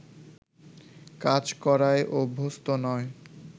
কাজ করায় অভ্যস্ত নয়